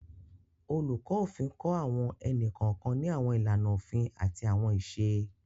Oluko Ofin kọ awọn ẹni-kọọkan ni awọn ilana ofin ati awọn iṣe.